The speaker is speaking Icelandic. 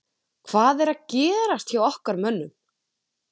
Hvað er að gerast hjá okkar mönnum?